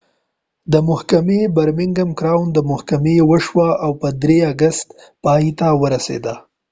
محکمې د برمینګم کراؤن محکمه کې وشوه او په ۳ اګست پای ته ورسیده